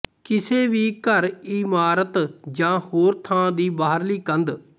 ਕਿਸੇ ਵੀ ਘਰਇਮਾਰਤ ਜਾਂ ਹੋਰ ਥਾਂ ਦੀ ਬਾਹਰਲੀ ਕੰਧ